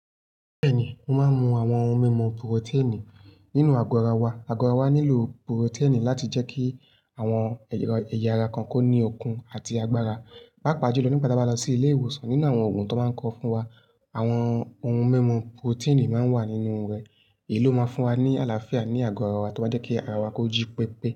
Bẹ́ẹ̀ni, mo máa ń mu àwọn ohun mímu purotini nínú àgọ́ ara wa. Àgọ́ ara wa nílò purotini láti jẹ́ kí àwọn ẹ̀ya ara kan kó ní okun àti agbára. Pàápàá jùlọ nígbà tí a bá lọ sí ilé ìwòsàn nínú àwọn òògùn tí wọ́n báa ń kọ fún wa, àwọn ohun mímu purotini máa ń wà nínú rẹ̀. Èyí ló máa fún wa ní àlàáfíà ní àgọ́ ara wa, tó máa jẹ́ kí ara wa ko jí pépé.